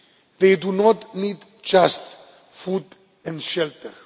They do not need just food and shelter.